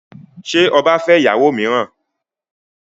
Ṣé ọba fẹ́ ìyàwó mìíràn?